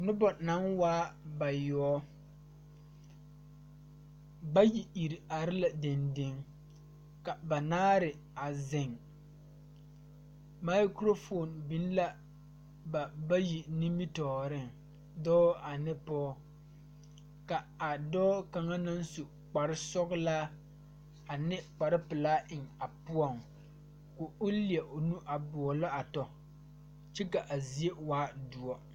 Nobɔ naŋ waa bayoɔbo bayi iri are la deŋ deŋ ka banaare a zeŋ mikurofoon biŋ la ba bayi nimitooreŋ dɔɔ ane pɔɔ ka a dɔɔ kaŋa naŋ su kparesɔglaa ane kparepelaa eŋ a poɔŋ ko leɛvo nu a boɔlɔ a tɔ kyɛ ka a zie waa doɔ.